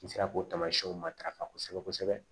N sera k'o tamasiyɛnw matarafa kosɛbɛ kosɛbɛ